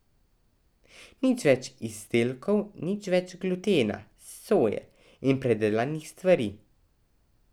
Nič več izdelkov, nič več glutena, soje in predelanih stvari.